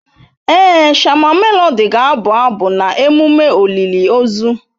Èé, shama Melodị ga-abụ abụ na emume olili ozu.